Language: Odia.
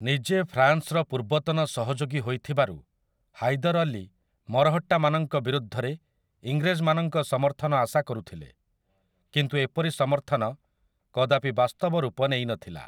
ନିଜେ ଫ୍ରାନ୍ସର ପୂର୍ବତନ ସହଯୋଗୀ ହୋଇଥିବାରୁ, ହାଇଦର୍ ଅଲୀ ମରହଟ୍ଟାମାନଙ୍କ ବିରୁଦ୍ଧରେ ଇଂରେଜମାନଙ୍କ ସମର୍ଥନ ଆଶା କରୁଥିଲେ, କିନ୍ତୁ ଏପରି ସମର୍ଥନ କଦାପି ବାସ୍ତବ ରୂପ ନେଇନଥିଲା ।